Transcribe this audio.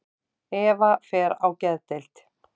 Eva fer á geðdeild.